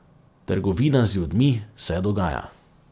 Trgovina z ljudmi se dogaja.